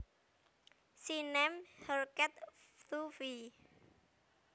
She named her cat Fluffy